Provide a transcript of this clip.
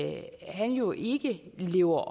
at han jo ikke lever